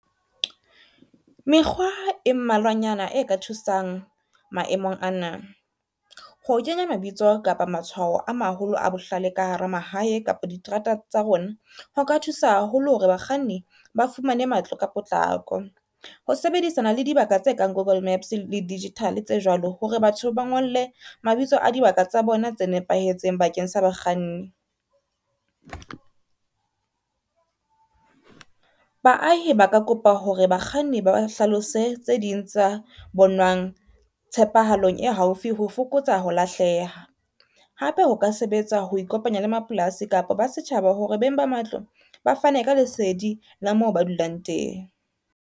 Mekgwa e mmalwanyana e ka thusang maemong ana, ho kenya mabitso kapa matshwao a maholo a bohlale ka hara mahae kapa diterata tsa rona, ho ka thusa haholo hore bakganni ba fumane matlo ka potlako. Ho sebedisana le dibaka tse kang Google Maps le digital tse jwalo hore batho ba ngolle mabitso a dibaka tsa bona tse nepahetseng bakeng sa bakganni. Baahi ba ka kopa hore bakganni ba ba hlalosetse tse ding tsa tshepahalong e haufi ho fokotsa ho lahleha. Hape ho ka sebetsa ho ikopanya le mapolasi kapa ba setjhaba hore beng ba matlo ba fane ka lesedi la moo ba dulang teng.